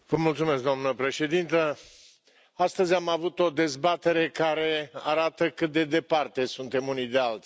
Doamna președintă, astăzi am avut o dezbatere care arată cât de departe suntem unii de alții.